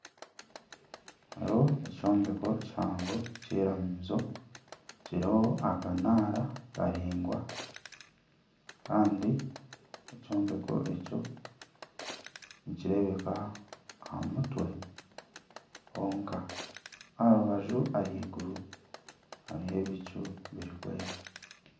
Hariho ekyombeko kihango kyiramizo kiriho akanara karaingwa kandi ekyombeko ekyo nikireebeka aha mutwe honka aha rubaju haiguru hariho ebicu birikwera.